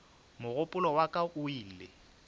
mogopolo wa ka o ile